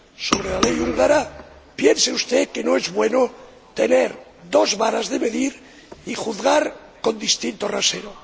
sobre la ley húngara, piense usted que no es bueno tener dos varas de medir y juzgar con distinto rasero.